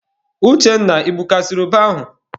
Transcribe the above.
Uchenna, I gbukasiri ube ahụ?